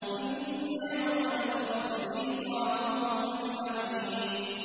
إِنَّ يَوْمَ الْفَصْلِ مِيقَاتُهُمْ أَجْمَعِينَ